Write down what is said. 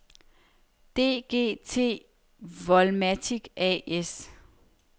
DGT-Volmatic A/S